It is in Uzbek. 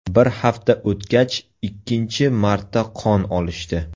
Bir hafta o‘tgach ikkinchi marta qon olishdi.